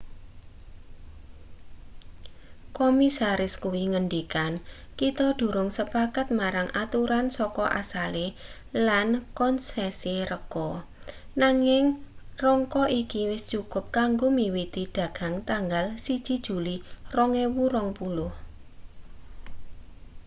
komisaris kuwi ngendikan kita durung sepakat marang aturan saka asale lan kon[s]esi rega nanging rangka iki wis cukup kanggo miwiti dagang tanggal 1 juli 2020